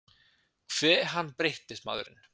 Hve hann breyttist, maðurinn.